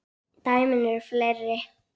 Dæmin eru fleiri.